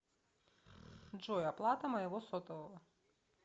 джой оплата моего сотового